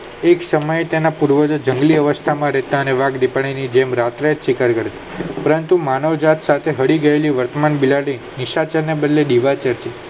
એક સમયે તેના પૂર્વજો જંગલી અવસ્થા માં રહેતા અને વાઘ દીપડાની જેમ રાત્રે ચિકન કરતા કારણ કે માનવ જાત સાથે ભળી ગયેલી વર્તમાન બિલાડી નિસાતો ને બદલે નીવા કેતી